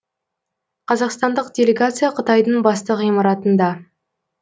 қазақстандық делегация қытайдың басты ғимаратында